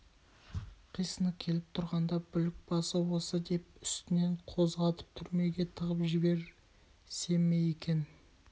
қисыны келіп тұрғанда бүлік басы осы деп үстінен қозғатып түрмеге тығып жіберсе ме екен